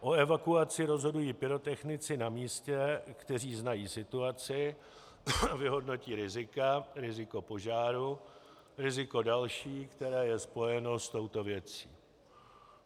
O evakuaci rozhodují pyrotechnici na místě, kteří znají situaci, vyhodnotí rizika - riziko požáru, riziko další, které je spojeno s touto věcí.